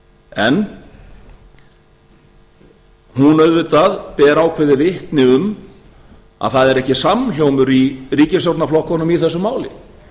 en hún auðvitað ber ákveðið vitni um að það er ekki samhljómur í ríkisstjórnarflokkunum í þessu máli